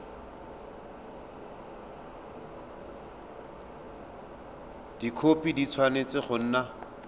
dikhopi di tshwanetse go nna